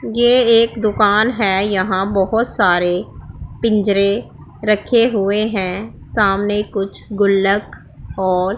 ये एक दुकान है यहां बहुत सारे पिंजरे रखे हुए हैं सामने कुछ गुल्लक और --